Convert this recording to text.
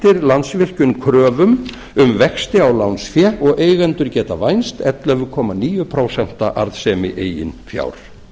landsvirkjun kröfum um vexti á lánsfé og eigendur geta vænst ellefu komma níu prósent arðsemi eigin fjár